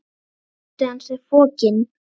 Ótti hans er fokinn.